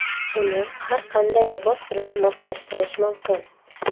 Uni har qanday libos bilan moslashtirish mumkin.